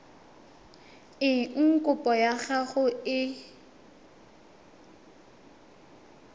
eng kopo ya gago e